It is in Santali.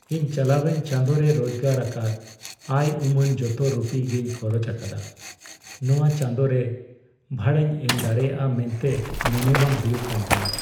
ᱤᱧ ᱪᱟᱞᱟᱣᱮᱱ ᱪᱟᱸᱫᱚ ᱨᱮ ᱨᱳᱡᱜᱟᱨ ᱟᱠᱟᱫ ᱟᱭ ᱩᱢᱟᱹᱱ ᱡᱚᱛᱚ ᱨᱩᱯᱤ ᱜᱮᱧ ᱠᱷᱚᱨᱚᱪ ᱟᱠᱟᱫᱟ ᱾ ᱱᱚᱣᱟ ᱪᱟᱸᱫᱚ ᱨᱮ ᱵᱷᱟᱲᱟᱧ ᱮᱢ ᱫᱟᱲᱮᱭᱟᱜᱼᱟ ᱢᱮᱱᱛᱮ ᱢᱚᱱᱮ ᱵᱟᱝ ᱦᱩᱭᱩᱜ ᱠᱟᱱ ᱛᱤᱧᱟ ᱾